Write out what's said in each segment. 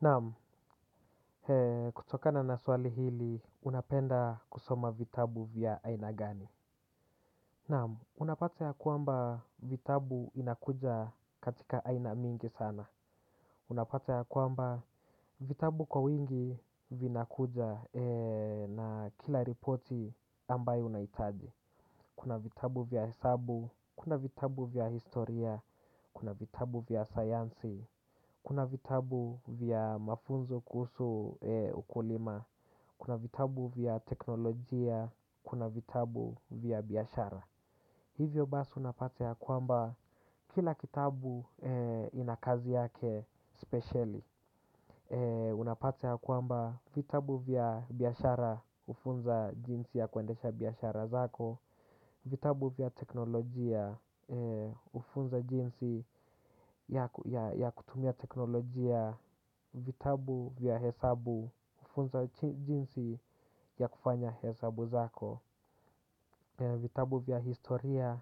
Naam, kutokana na swali hili, unapenda kusoma vitabu vya aina gani? Naam, unapata ya kwamba vitabu inakuja katika aina mingi sana. Unapata ya kwamba vitabu kwa wingi vinakuja na kila ripoti ambayo unahitaji. Kuna vitabu vya hesabu, kuna vitabu vya historia, kuna vitabu vya sayansi, kuna vitabu vya mafunzo kuhusu ukulima. Kuna vitabu vya teknolojia. Kuna vitabu vya biyashara. Hivyo basi unapata ya kwamba kila kitabu ina kazi yake spesheli. Unapata ya kwamba vitabu vya biashara hufunza jinsi ya kuendesha biashara zako. Vitabu vya teknolojia hufunza jinsi ya kutumia teknolojia. Vitabu vya hesabu hufunza jinsi ya kufanya hesabu zako. Vitabu vya historia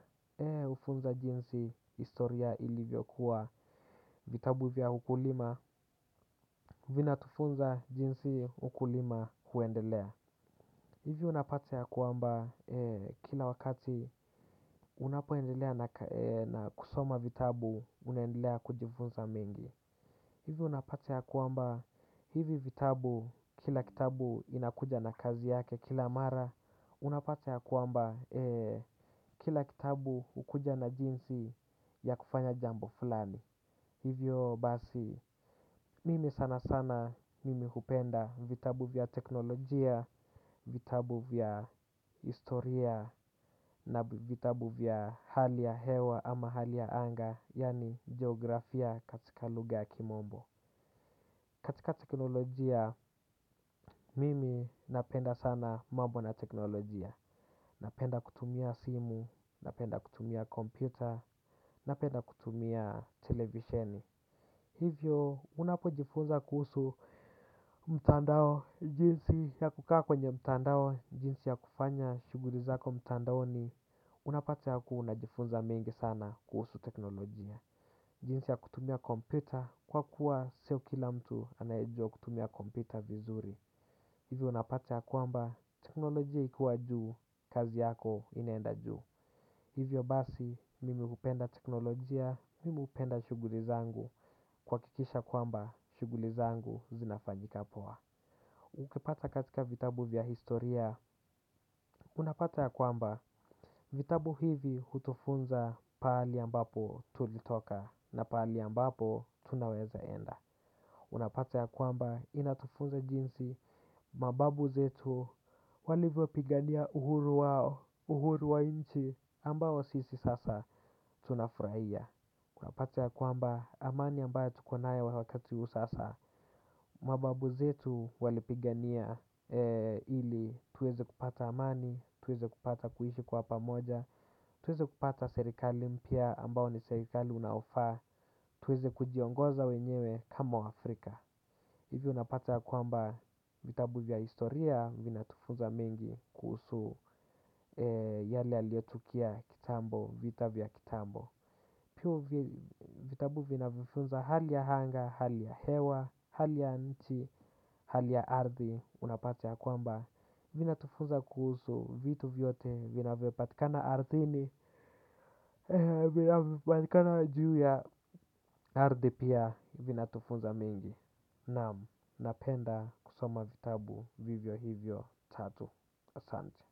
hufunza jinsi historia ilivyo kuwa vitabu vya ukulima. Vina tufunza jinsi ukulima huendelea. Hivi unapata ya kwamba kila wakati. Unapoendelea na kusoma vitabu. Unaendelea kujifunza mingi. Hivi unapate ya kuamba hivi vitabu, kila kitabu inakuja na kazi yake, kila mara unapata ya kwamba kila kitabu hukuja na jinsi ya kufanya jambo fulani. Hivyo basi, mimi sana sana mimi hupenda vitabu vya teknolojia, vitabu vya historia na vitabu vya hali ya hewa ama hali ya anga, yaani geografia katika lugha ya kimombo. Katika teknolojia, mimi napenda sana mambo na teknolojia. Napenda kutumia simu, napenda kutumia kompyuta, napenda kutumia televisheni. Hivyo, unapojifunza kuhusu mtandao jinsi ya kukaa kwenye mtandao. Jinsi ya kufanya shughuli zako mtandaoni unapata yakuwa una jifunza mengi sana kuhusu teknolojia. Jinsi ya kutumia kompyuta kwa kuwa sio kila mtu anayejua kutumia kompyuta vizuri. Hivyo unapata ya kwamba teknolojia ikiwa juu kazi yako inaenda juu. Hivyo basi mimi jupenda teknolojia, mimi upenda shughuli zangu kuhakikisha kwamba shughuli zangu zinafanyika poa. Ukipata katika vitabu vya historia. Unapata ya kwamba vitabu hivi hutufunza pahali ambapo tulitoka na pahali ambapo tunaweza enda. Unapata ya kwamba inatufunza jinsi mababu zetu walivopigania uhuru wao uhuru wa inchi ambao sisi sasa tunafurahia unapata ya kwamba amani ambaye tukonayo wakati huu sasa. Mababu zetu walipigania ili tuweze kupata amani, tuweze kupata kuishi kwa pamoja. Tuweze kupata serikali mpya ambao ni serikali unaofaa. Tuweze kujiongoza wenyewe kama wa Afrika. Hivi unapata ya kwamba vitabu vya historia vinatufunza mengi kuhusu yale yaliuotukia kitambo, vita vya kitambo. Pia vitabu vinavyofunza hali ya hanga, hali ya hewa, hali ya nchi, hali ya ardhi unapata ya kwamba vinatufunza kuhusu vitu vyote vinavyopatikana ardhini vinavyopatikana juu ya ardhi pia vinatufunza mengi. Naam, napenda kusoma vitabu vivyo hivyo tatu asante.